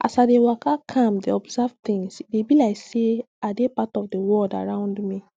as i dey waka calm dey observe things e dey be like say i dey part of the world around me